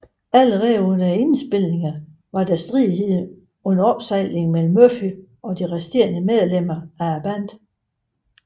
Allerede under indspilningerne var der stridigheder under opsejling mellem Murphy og de resterende medlemmer i bandet